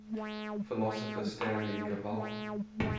philosopher stanley cavell